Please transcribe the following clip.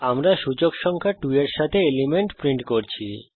আমরা সূচক সংখ্যা 2 এর সাথে এলিমেন্ট প্রিন্ট করছি